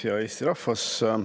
Hea Eesti rahvas!